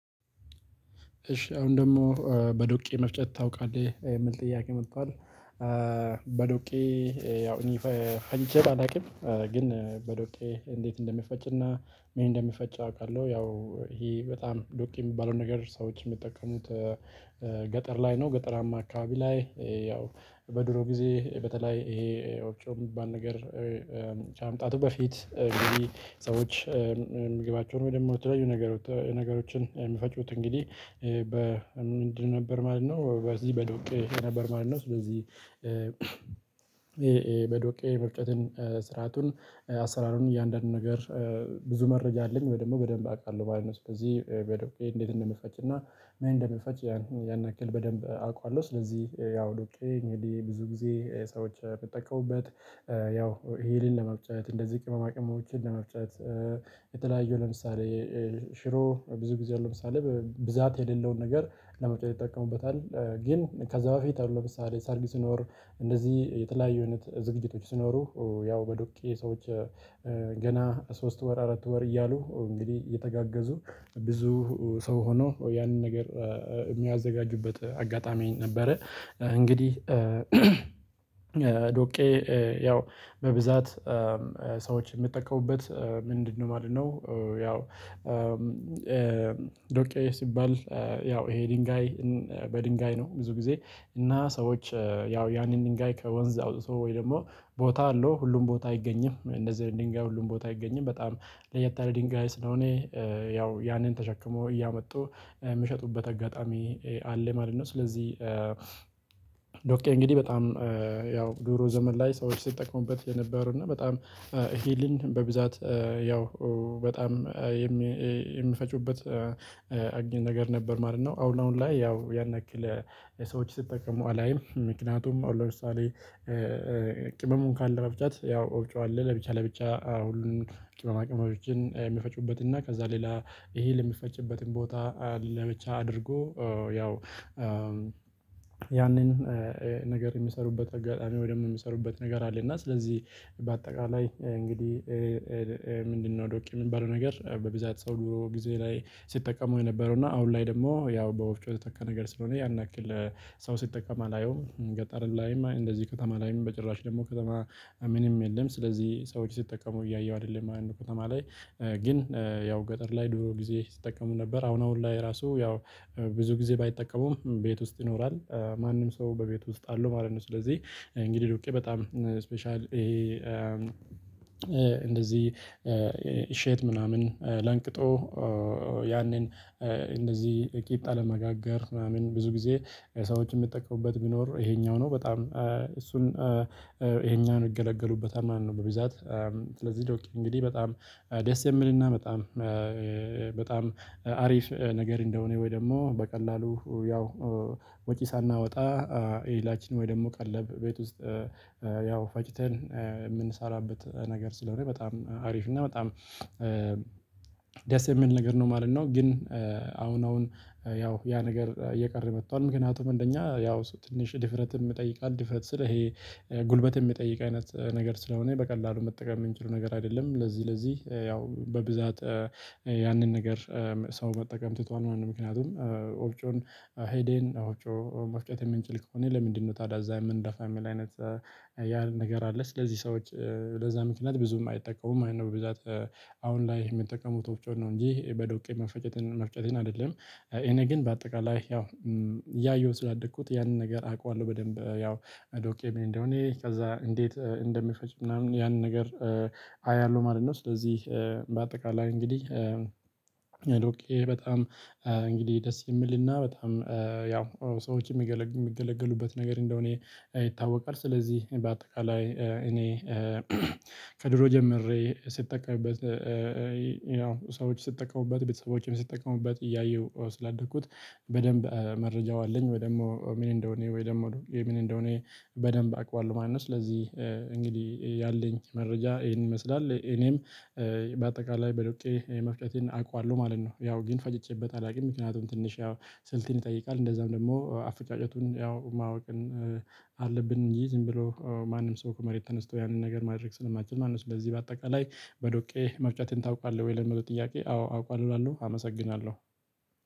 እሺ አሁን ደግሞ በዶቄ መፍጨት ታውቃለህ የምል ጥያቄ መጧል። በዶቄ ያው እኔ ፈንጀት አላቅም። ግን በዶቄ እንዴት እንደሚፈጭና ምን እንደሚፈጭ አውቃለሁ። ያው ይሄ በጣም ዶቄ የሚባለውን ነገር ሰዎችን የሚጠቀሙት ገጠር ላይ ነው። ገጠራማ አካባቢ ላይ ያው በድሮ ጊዜ በተለይ ይሄ ወፍጮ የሚባል ነገር። ከመምጣቱ በፊት ሰዎች ምግባቸውን ወይ ደግሞ የተለያዩ ነገሮችን የሚፈጩት እንግዲህ በ ምንድን ነበር ማለት ነው? በዚህ በዶቄ ነበር ማለት ነው። ስለዚህ በዶቄ መፍጨትን ስርአቱን አሰራሩን እያንዳንዱን ነገር ብዙ መረጃ አለኝ ወይ ደግሞ በደንብ አውቃለሁ ማለት ነው። ስለዚህ በዶቄ እንዴት እንደምፈጭና ምን እንደምፈች ያን ያን ያክል በደንብ አውቃለሁ። ስለዚህ ያው ዶቄ እንግዲህ ብዙ ጊዜ ሰዎች የምጠቀሙበት ያው ይህንን ለመፍጨት እንደዚህ ቅመማቅሞችን ለመፍጨት የተለያዩ ለምሳሌ ሽሮ ብዙ ጊዜ አሁን ለምሳሌ ብዛት የሌለውን ነገር ለመፍጨት ይጠቀሙበታል። ግን ከዛ በፊት አሁን ለምሳሌ ስኖር እንደዚህ የተለያዩ አይነት ዝግጅቶች ስኖሩ ያው በዱቄ ሰዎች ገና ሶስት ወር አራት ወር እያሉ እንግዲህ የተጋገዙ ብዙ ሰው ሆኖ ያንን ነገር የሚያዘጋጁበት አጋጣሚ ነበረ። እንግዲህ ዶቄ ያው በብዛት ሰዎች የሚጠቀሙበት ምንድነው ማለት ነው። ያው ዶቄ ሲባል ያው ይሄ ድንጋይ በድንጋይ ነው። ብዙ ጊዜ እና ሰዎች ያው ያንን ድንጋይ ከወንዝ አውጥቶ ወይ ደግሞ ቦታ አለው ሁሉም ቦታ አይገኝም። እንደዚህ አይነት ድንጋይ ሁሉም ቦታ አይገኝም በጣም ለየት ያለ ድንጋይ ስለሆነ ያው ያንን ተሸክሞ እያመጡ የምሸጡበት አጋጣሚ አለ ማለት ነው። ስለዚህ ዶቄ እንግዲህ በጣም ያው ድሮ ዘመን ላይ ሰዎች ሲጠቀሙበት የነበሩ እና በጣም ሂልን በብዛት ያው በጣም የሚፈጩበት አግኝተን ነገር ነበር ማለት ነው። አሁን አሁን ላይ ያው ያን ያክል ለሰዎች ሲጠቀሙ አላይም። ምክንያቱም አሁን ለምሳሌ ቅመሙን ካለ መፍጨት ያው ወፍጮ አለ ለብቻ ለብቻ ሁሉንም ቅመማ ቅመሞችን የሚፈጩበት እና ከዛ ሌላ ይሄ ለሚፈጭበትም ቦታ ለብቻ አድርጎ ያው ያንን ነገር የሚሰሩበት አጋጣሚ ወይ ደግሞ የሚሰሩበት ነገር አለ። እና ስለዚህ በአጠቃላይ እንግዲህ ምንድነው ዶቄ የምባለው ነገር በብዛት ሰው ድሮ ጊዜ ላይ ሲጠቀው የነበረው እና አሁን ላይ ደግሞ ያው በወፍጮ የተተካ ነገር ስለሆነ ያን ያክል ሰው ሲጠቀም አላየውም ገጠርም ላይም እንደዚህ በጣም አላይም በጭራሽ ደግሞ ከተማ ምንም የለም ስለዚህ ሰዎች ሲጠቀሙ እያየሁ አይደለም ማለት ነው። ከተማ ላይ ግን ያው ገጠር ላይ ድሮ ጊዜ ሲጠቀሙ ነበር። አሁን አሁን ላይ ራሱ ያው ብዙ ጊዜ ባይጠቀሙም ቤት ውስጥ ይኖራል ማንም ሰው በቤቱ ውስጥ አለው ማለት ነው። ስለዚህ እንግዲህ ዶቄ በጣም ስፔሻል እንደዚህ ሼት ምናምን ለንቅጦ ያንን እንደዚህ ቂጣ ለመጋገር ምናምን ብዙ ጊዜ ሰዎችን የምጠቀሙበት ቢኖር ይሄኛው ነው በጣም እሱን ይሄኛውን ይገለገሉበታል ማለት ነው። በብዛት ስለዚህ ዶቄ እንግዲህ በጣም ደስ የምልና በጣም በጣም አሪፍ ነገር እንደሆነ ወይ ደግሞ በቀላሉ ያው ወጪ ሳናወጣ ኤላችን ወይ ደግሞ ቀለብ ቤት ውስጥ ያው ፈጭተን የምንሰራበት ነገር ስለሆነ በጣም አሪፍ እና በጣም ደስ የምል ነገር ነው ማለት ነው። ግን አሁን አሁን ያው ያ ነገር እየቀረ መጥቷል ምክንያቱም እንደኛ ያው ትንሽ ድፍረትም ይጠይቃል ድፍረት ስል ይሄ ጉልበት የሚጠይቅ አይነት ነገር ስለሆነ በቀላሉ መጠቀም የምንችለው ነገር አይደለም። ለዚህ ለዚህ ያው በብዛት ያንን ነገር ሰው መጠቀም ትቷል ማለት ነው። ምክንያቱም ኦብጮን ሄዴን ኦብጮ መፍጨት የምንችል ከሆነ ለምንድነው ታዳዛ የምንደፋ የምል አይነት ያ ነገር አለ። ስለዚህ ሰዎች ለዛ ምክንያት ብዙም አይጠቀሙም አይነት ብዛት አሁን ላይ የምንጠቀሙት ወጪው ነው። እንጂ በዶቄ መፈጨትን መፍጨትን አይደለም። እኔ ግን በአጠቃላይ ያው እያየሁት ስላደኩት ያንን ነገር አውቃለሁ በደንብ ያው ዶቄ ምን እንደሆነ ከዛ እንዴት እንደሚፈጭ ምናምን ያንን ነገር አያለሁ ማለት ነው። ስለዚህ በአጠቃላይ እንግዲህ ዶቄ በጣም እንግዲህ ደስ የሚልና በጣም ያው ሰዎች የሚገለግሉበት ነገር እንደሆነ ይታወቃል። ስለዚህ በአጠቃላይ እኔ ከድሮ ጀምሬ ስትጠቀምበት ሰዎች ስጠቀሙበት ቤተሰቦቹም ስጠቀሙበት እያየሁ ስላደኩት በደንብ መረጃው አለኝ ወይ ደግሞ ምን እንደሆነ ወይ ደግሞ ምን እንደሆነ በደንብ አቀዋለሁ ማለት ነው። ስለዚህ እንግዲህ ያለኝ መረጃ ይሄን ይመስላል እኔም በአጠቃላይ በዶቄ መፍጨቴን አውቀዋለሁ ማለት ነው። ያው ግን ፈጭቼበት አላውቅም። ምክንያቱም ትንሽ ያው ስልቴን ይጠይቃል እንደዛም ደግሞ አፈጫጨቱን ያው ማወቅን አለብን ይህ ዝም ብሎ ማንም ሰው ከመሬት ተነስቶ ያንን ነገር ማድረግ ስለማይችል ማለት ነው። ስለዚህ በአጠቃላይ በዶቄ መፍጨትን ታውቃለህ ወይ ለሚለው ጥያቄ? አዎ አውቃለሁ እላለሁ አመሰግናለሁ።